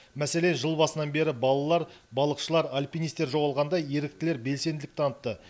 мәселен жыл басынан бері балалар балықшылар альпинистер жоғалғанда еріктілер белсенділік танытты